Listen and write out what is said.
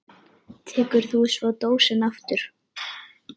Tekur þú svo dósina aftur?